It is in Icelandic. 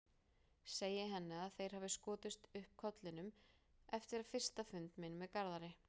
Segi henni að þeir hafi skotið upp kollinum eftir fyrsta fund minn með Garðari.